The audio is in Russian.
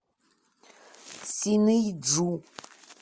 синыйджу